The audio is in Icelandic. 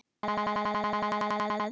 Nú ertu komin þangað.